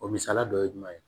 O misaliya dɔ ye jumɛn ye